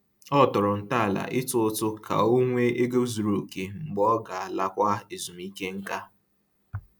Ọ tọrọ ntọala ịtụ ụtụ ka ọ nwee ego zuru oke mgbe ọ ga-alakwa ezumike nká